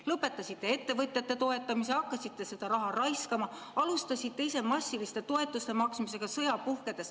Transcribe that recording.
Lõpetasite ettevõtjate toetamise, hakkasite seda raha raiskama, sõja puhkedes alustasite massiliselt toetuste maksmist.